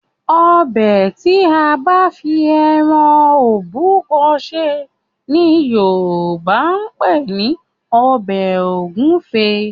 Ọbẹ̀ tí a bá fi ẹran òbúkọ sè ni Yorùbá ń pè ní ọbẹ̀ ògúfe